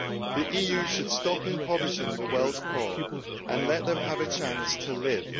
The EU should stop impoverishing the world's poor and let them have a chance to live.